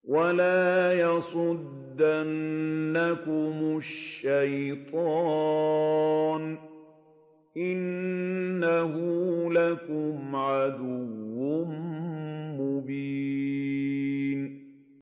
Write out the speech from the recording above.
وَلَا يَصُدَّنَّكُمُ الشَّيْطَانُ ۖ إِنَّهُ لَكُمْ عَدُوٌّ مُّبِينٌ